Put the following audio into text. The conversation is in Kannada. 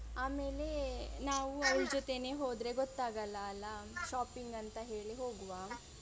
ಆಮೇಲೆ ನಾವು ಅವ್ಳ ಜೊತೆನೆ ಹೋದ್ರೆ ಗೊತ್ತಾಗಲ್ಲ ಅಲ shopping ಅಂತ ಹೇಳಿ ಹೋಗುವ.